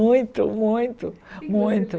Muito, muito, muito.